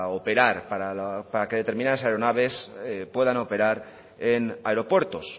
operar para que determinadas aeronaves puedan operar en aeropuertos